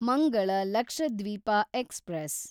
Mangala Lakshadweep express